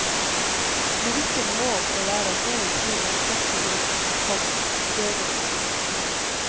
Lyrikken må og skal være en evig krig mot trette ord, komma døde ord. punktum